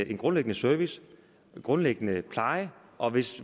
en grundlæggende service en grundlæggende pleje og hvis